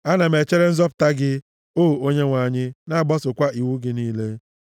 Ana m echere nzọpụta gị, o Onyenwe anyị, na-agbasokwa iwu gị niile.